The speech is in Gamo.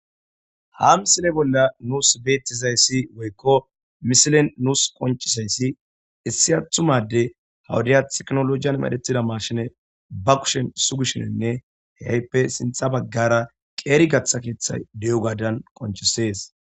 ha misile bolla nuus beettizayssi woykko misilen nuus qoncisayssi issi athumade hawudaya tiknolojiyan medhetida marshine ba kushen sugishininne heyppe sintha baggara qeeri gaththa keeththay de7o gaadan qonchisees